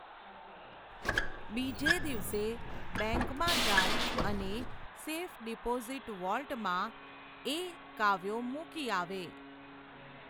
બીજે દિવસે, બૅન્કમાં જાય, અને, સેફ ડિપોઝિટ વૉલ્ટમાં, એ, કાવ્યો મૂકી યાવે.